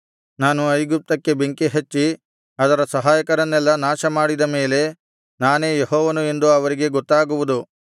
ನಾನು ಐಗುಪ್ತಕ್ಕೆ ಬೆಂಕಿ ಹಚ್ಚಿ ಅದರ ಸಹಾಯಕರನ್ನೆಲ್ಲಾ ನಾಶಮಾಡಿದ ಮೇಲೆ ನಾನೇ ಯೆಹೋವನು ಎಂದು ಅವರಿಗೆ ಗೊತ್ತಾಗುವುದು